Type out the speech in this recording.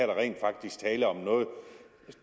der rent faktisk tale om noget